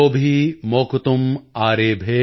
ਮੋਕਤੁਮ੍ ਆਰੇਭੇ ਪਰਜਨਯ ਕਾਲ ਆਗਤੇ॥